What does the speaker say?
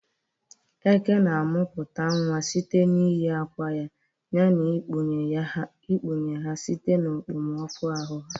Eke na-amụpụta nwa site n'iyi akwa ya na ịkwanye ha site na okpomọkụ ahụ ha.